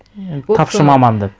енді тапшы маман деп